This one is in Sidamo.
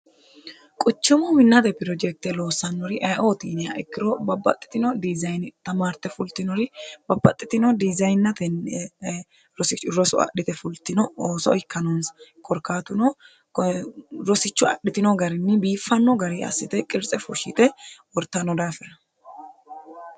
quchimu minnate pirojekte loossannori aye"ooti yiniha ikkiro babbaxxitino dizayini tamaarte fultinori babbaxxitino dizayinateni rosirosu adhite fultino ooso ikkanonsa korkaatuno rosichu adhitino garinni biiffanno gari assite qirtse fushshite wortanno daafira